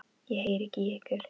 Ég heyri ekki í ykkur.